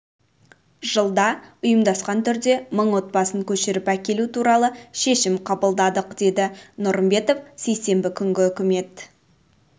жылда ұйымдасқан түрде мың отбасын көшіріп әкелу туралы шешім қабылдадық деді нұрымбетов сейсенбі күнгі үкімет